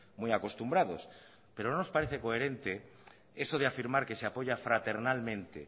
muy acostumbrados pero no nos parece coherente eso de afirmar que se apoya fraternalmente